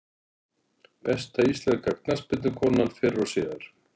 Besta íslenska knattspyrnukonan fyrr og síðar?